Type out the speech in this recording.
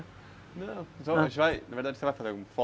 Não, a gente vai... Na verdade, você vai fazer alguma foto?